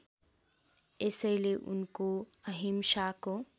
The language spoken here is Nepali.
यसैले उनको अहिंसाको